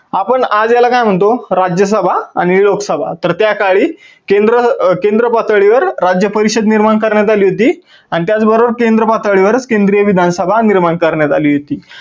आपण आज याला काय म्हणतो राज्य सभा आणि लोक सभा. तर त्या काळी केंद्र पातळीवर राज्य परिषद निर्माण करण्यात आली होती आणि त्याच बरोबर केंद्र पातळीवर केंद्रीय विधानसभा निर्माण करण्यात आली होती.